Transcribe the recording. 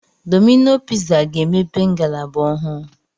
Domino piza ga-emepe ngalaba ọhụụ